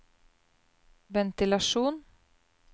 ventilasjon